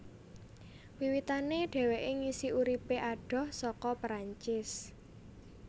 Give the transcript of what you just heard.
Wiwitané dheweké ngisi uripé adoh saka Perancis